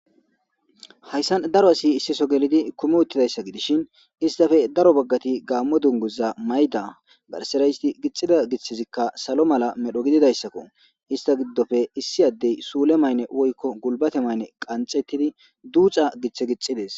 hayssan daro asi issiso gelidi kumi uttidayssa gidishin istape daro baggati gaammo dunguza mayda garsera isti gixida githizikka salo mala medho gididayssakko ista giddope issi addey suule maynne woykko gulbate maynne qanxettidi duuca giththe gixides